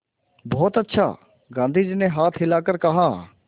बहुत अच्छा गाँधी जी ने हाथ हिलाकर कहा